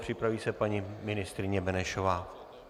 Připraví se paní ministryně Benešová.